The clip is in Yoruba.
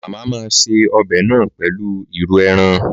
Màmá máa se ọbẹ̀ náà pèlú ìrù ẹran.